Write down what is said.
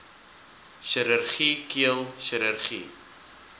chirurgie keel chirurgie